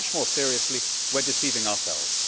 much more seriously, we are deceiving ourselves.